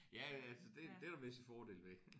Ja altså det det er jo visse fordele ved